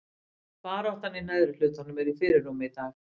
Baráttan í neðri hlutanum er í fyrirrúmi í dag.